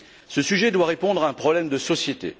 Ce sujet doit répondre à un problème de société.